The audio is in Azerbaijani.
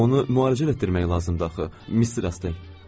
Amma onu müalicə elətdirmək lazımdır axı, Mister Astley.